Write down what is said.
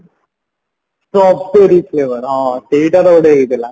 strawberry flavor ହଁ ସେଇଟାରେ ଗୋଟେ ହେଇଥିଲା